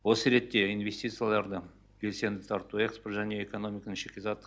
осы ретте инвестицияларды белсенді тарту экспорт және экономиканың шикізаттық